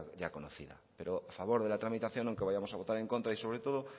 ya conocía pero a favor de la tramitación aunque vayamos a votar en contra y sobre todo